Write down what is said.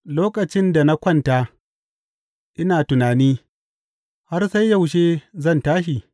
Lokacin da na kwanta ina tunani, Har sai yaushe zan tashi?’